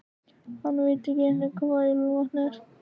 Hann veit ekki einu sinni hvað ilmvatn er.